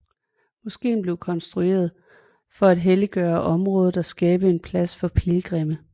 Moskeen blev konstrueret for at helliggøre området og skabe en plads for pilgrimme